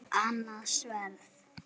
Annað sverð.